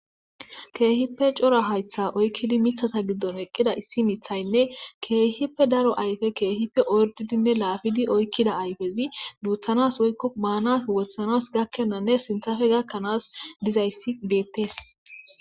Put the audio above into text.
keehippe cora haytha oykkidi mithata giddon eqqida issi mithaynne keehippe daro ayfe keehippe ordidinne laafidi oykkida ayfezi duuthanas woykko maanas wothanas gakkennanne sinthafe gakkanaas dizayssi beettees